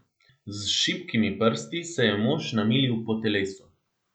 Z šibkimi prsti se je mož namilil po telesu.